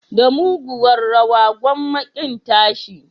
Da muguwar rawa, gwamma kin tashi.